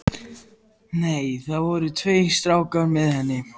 Nei, það voru tveir strákar með henni.